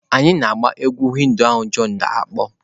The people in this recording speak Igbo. Anyị na-agba egwú Hindu ahụ john na-akpọ.